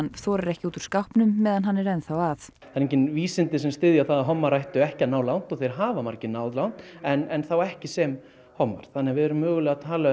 þorir ekki út úr skápnum meðan hann er enn þá að það eru engin vísindi sem styðja það að hommar ættu ekki að ná langt og þeir hafa margir náð langt en þá ekki sem hommar þannig að við erum að tala um